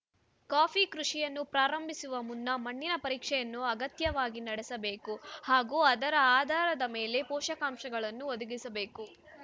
coffee ಕೃಷಿಯನ್ನು ಪ್ರಾರಂಭಿಸುವ ಮುನ್ನ ಮಣ್ಣಿನ ಪರೀಕ್ಷೆಯನ್ನು ಅಗತ್ಯವಾಗಿ ನಡೆಸಬೇಕು ಹಾಗೂ ಅದರ ಆಧಾರದ ಮೇಲೆ ಪೋಷಕಾಂಶಗಳನ್ನು ಒದಗಿಸಬೇಕು